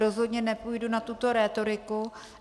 Rozhodně nepůjdu na tuto rétoriku.